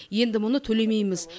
енді мұны төлемейміз